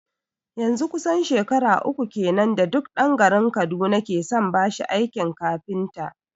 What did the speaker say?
Yanzun kusan shekara uku kenan da duk dan garin kaduna ke son bashi aikin kafinta